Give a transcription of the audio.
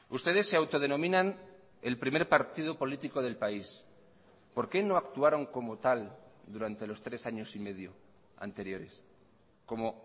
ustedes se autodenominan el primer partido político del país por qué no actuaron como tal durante los tres años y medio anteriores como